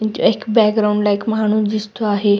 एक बॅकग्राऊंड ला एक माणूस दिसतो आहे.